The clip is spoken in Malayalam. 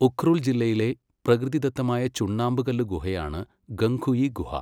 ഉഖ്രുൽ ജില്ലയിലെ പ്രകൃതിദത്തമായ ചുണ്ണാമ്പുകല്ല് ഗുഹയാണ് ഖങ്ഖുയി ഗുഹ.